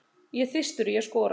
Ég er þyrstur í að skora.